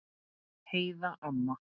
Heiða amma.